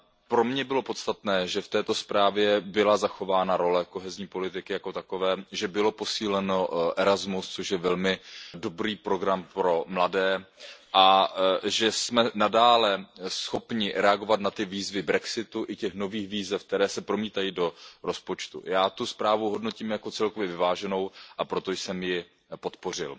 Pro mě bylo podstatné, že v této zprávě byla zachována role kohezní politiky jako takové, že byl posílen Erasmus, což je velmi dobrý program pro mladé, a že jsme nadále schopni reagovat na výzvy jako brexit i na nové výzvy, které se promítají do rozpočtu. Já tu zprávu hodnotím jako celkově vyváženou, a proto jsem ji podpořil.